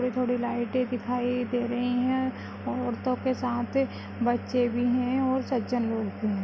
थोड़ी थोड़ी लाइटें दिखाई दे रही हैं औरतों के साथ बच्चे भी हैं और सज्जन लोग भी हैं।